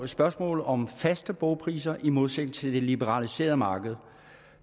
spørgsmålet om faste bogpriser i modsætning til det liberaliserede marked